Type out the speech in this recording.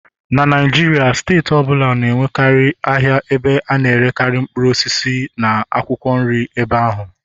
na Naijiria steeti ọ bụla nwere ahịa ebe a na-erekarị mkpụrụ osisi na akwụkwọ nri ebe ahụ.